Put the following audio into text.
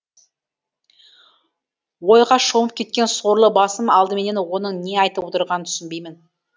ойға шомып кеткен сорлы басым алдыменен оның не айтып отырғанын түсінбеймін